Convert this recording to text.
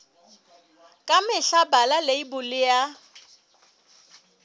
ka mehla bala leibole ya